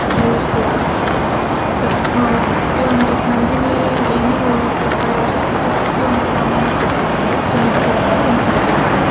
Juice ಪ್ರತಿ ಪ್ರತಿಯೊಂದು ನಂದಿನಿ ಏನೇನೊ ತಯಾರಿಸ್ತಾದ ಪ್ರತಿಯೊಂದು ಸಾಮಾನು ಸಿಗ್ತದ್ದೆ ಇಲ್ಲಿ ಜನರು ಹೋಗ್ಬಿಟ್ಟು ಖರೀದಿ ಮಾಡಬಹುದು.